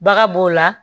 Baga b'o la